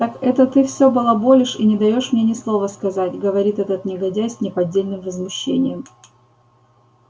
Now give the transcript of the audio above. так это ты всё балаболишь и не даёшь мне ни слова сказать говорит этот негодяй с неподдельным возмущением